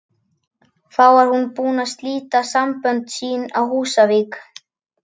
Þá var hún búin að slíta sambönd sín á Húsavík.